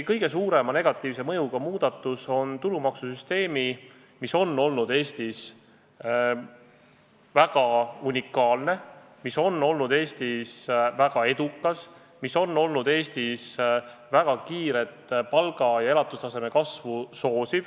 Kõige suurema negatiivse mõjuga on muidugi see, et on muudetud tulumaksusüsteemi, mis on olnud Eestis väga unikaalne ja edukas ning soosinud kiiret palga ja elatustaseme kasvu.